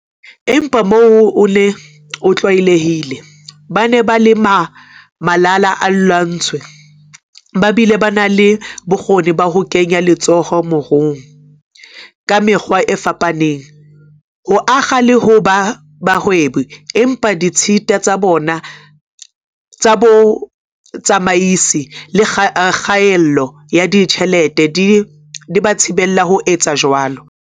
Empa mohoo oo o ne o tlwaelehile- ba ne ba le malala-a-laotswe ba bile ba na le bokgoni ba ho kenya letsoho moruong ka mekgwa e fapaneng, ho akga le ho ba bahwebi, empa ditshita tsa bo tsamaisi le kgaello ya ditjhelete di ba thibela ho etsa jwalo.